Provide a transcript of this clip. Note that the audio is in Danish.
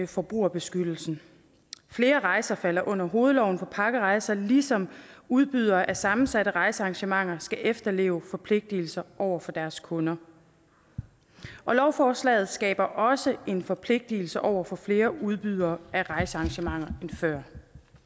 forbrugerbeskyttelsen flere rejser falder under hovedloven for pakkerejser ligesom udbydere af sammensatte rejsearrangementer skal efterleve forpligtelser over for deres kunder lovforslaget skaber også en forpligtelse over for flere udbydere af rejsearrangementer end før